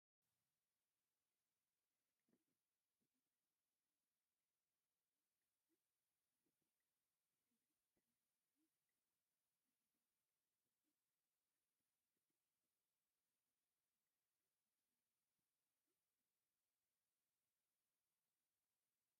እሰይ ደስ ክብል ህንፃ እዚ ገዛ ቡናማ ሕብሪ ዘለዎ ቅርፂን ማስቲካ ሕብሪን ተለሚፁ ይርከብ፡፡ ናይ ዚ ገዛ በሪ ማዕፆ ከዓ ብጣዕሚ ገፊሕ እዩ፡፡ አብዚ በሪ ደገ ከዓ ብስሚንቶ ተወቂዑ ይርከብ፡፡